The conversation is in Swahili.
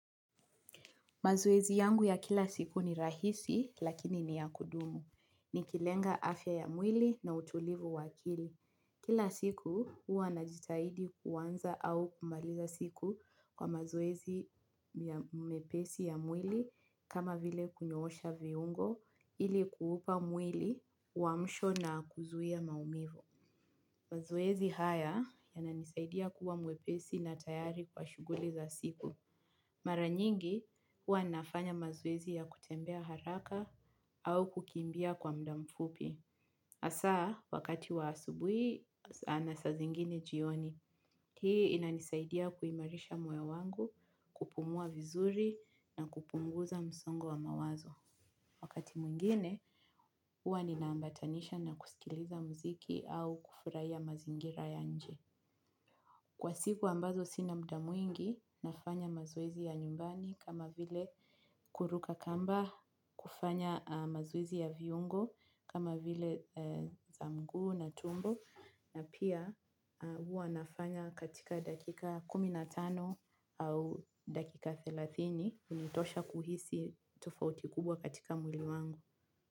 Mazoezi yangu ya kila siku ni rahisi lakini ni ya kudumu. Nikilenga afya ya mwili na utulivu wa akili. Kila siku huwa najitahidi kuanza au kumaliza siku kwa mazoezi mepesi ya mwili kama vile kunyoosha viungo ili kuupa mwili uamsho na kuzuia maumivu. Mazoezi haya yananisaidia kuwa mwepesi na tayari kwa shughuli za siku. Mara nyingi, huwa ninafanya mazoezi ya kutembea haraka au kukimbia kwa muda mfupi. Hasa, wakati wa asubuhi, na saa zingine jioni. Hii inanisaidia kuimarisha moyo wangu, kupumua vizuri na kupunguza msongo wa mawazo. Wakati mwingine, huwa ninaambatanisha na kusikiliza muziki au kufurahia mazingira ya nje. Kwa siku ambazo sina muda mwingi nafanya mazoezi ya nyumbani kama vile kuruka kamba, kufanya mazoezi ya viungo kama vile za mguu na tumbo na pia huwa nafanya katika dakika kumi na tano au dakika thelathini hunitosha kuhisi tofauti kubwa katika mwili wangu.